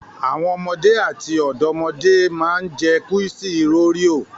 Àwọn ọmọdé àti ọ̀dọ́mọdé máa ń jẹ kúísì òréò.